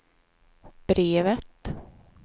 brevet